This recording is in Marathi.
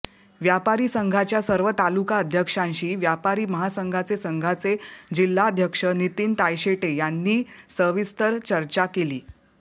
व्यापारी संघाच्या सर्व तालुका अध्यक्षांशी व्यापारी महासंघाचे संघाचे जिल्हाध्यक्ष नितीन तायशेटे यांनी सविस्तर चर्चा केली